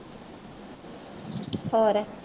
ਹੋਰ